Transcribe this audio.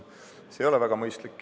See ei ole väga mõistlik.